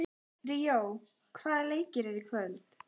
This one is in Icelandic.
Ríó, hvaða leikir eru í kvöld?